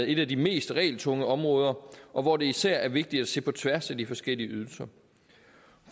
et af de mest regeltunge områder og hvor det især er vigtigt at se på tværs af de forskellige ydelser